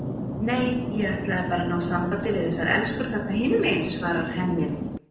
Nei, ég ætlaði bara að ná sambandi við þessar elskur þarna hinum megin, svarar Hemmi.